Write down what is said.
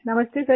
नमस्ते सर